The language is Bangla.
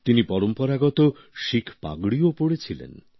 তিনি পরম্পরাগত শিখ পাগড়িও পড়ে ছিলেন